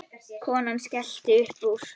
Konan skellti upp úr.